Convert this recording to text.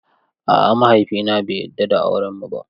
A'a mahaifina bai yarda da aurenmu ba.